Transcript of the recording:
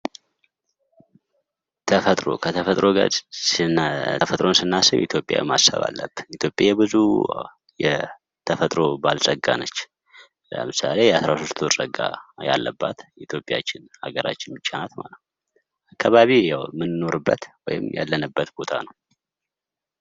ተፈጥሮ ተፈጥሮን ስናስብ ኢትዮጵያ ማሰብ አለብን ። ኢትዮጵያ የብዙ የተፈጥሮ ባለፀጋ ነች። ለምሳሌ የ 13 ወር ፀጋ ያለበት ኢትዮጵያችን አገራችን ብቻ ናት። አካባቢ ያው የምንኖርበት ወይም ያለንበት ቦታ ነው።